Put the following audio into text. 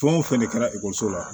Fɛn o fɛn de kɛra ekɔliso la